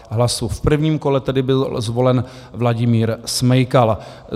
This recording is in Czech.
V prvním kole tedy byl zvolen Vladimír Smejkal.